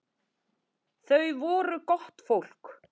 Þau voru gott fólk.